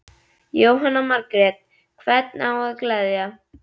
Jóhanna Margrét: Hvern á að gleðja?